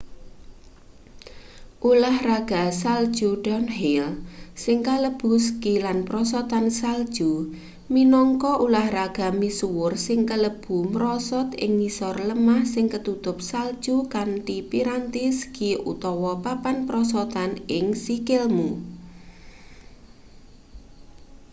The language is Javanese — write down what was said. ulahraga salju downhill sing kalebu ski lan prosotan salju minangka ulahraga misuwur sing kalebu mrosot ing ngisor lemah sing ketutup salju kanthi piranti ski utawa papan prosotan ing sikilmu